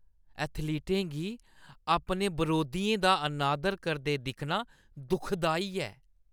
एथलीटें गी अपने बरोधियें दा अनादर करदे दिक्खना दुखदाई ऐ।